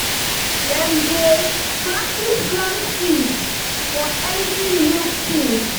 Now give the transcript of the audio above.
dem dey practise plant seed for empty milk tins.